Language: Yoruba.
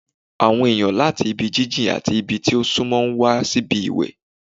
Àwọn èèyàn láti ibi jíjìn àti ibi tí ó súnmọ́ ń wá síbi ìwẹ̀